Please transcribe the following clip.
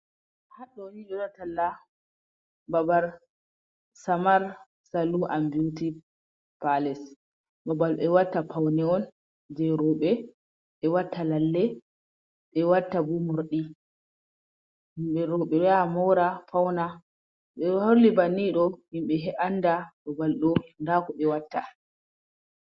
Haɗɗoo ni ɓe ɗo waɗa talla babar "samar saluu an biwti paales". Babal ɓe watta pawne on jey rowɓe ɓe watta lalle, ɓe watta bo morɗi. Yimɓe ɓe ɗo yaha moora fawna Ɓe ɗo holli bannii ɗoo yimɓe annda babal ɗoo ndaa ko ɓe watta.